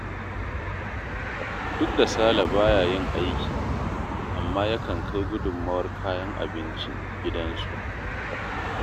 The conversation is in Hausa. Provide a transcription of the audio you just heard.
Duk da Sale ba ya yin aiki, amma yakan kai gudummawar kayan abinci gidansu